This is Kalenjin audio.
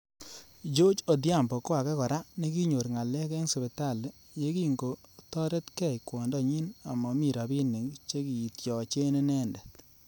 Gorge Odhiambo ko ake kora nekinyor ngalek eng sipitali yekingotoretkei kwondo nyi ama mami robinik chekityache inendet.